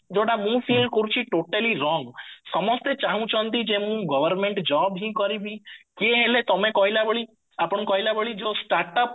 ଯୋଉଟା ମୁଁ feel କରୁଚି totally wrong ସମସ୍ତେ ଚାହୁଁଚନ୍ତି ଯେ ମୁଁ government job ହିଁ କରିବି କିଏ ହେଲେ ତମେ କହିଲା ଭଳି ଆପଣ କହିଲା ଭଳି ଯୋଉ start up